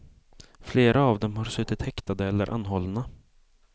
Flera av dem har suttit häktade eller anhållna.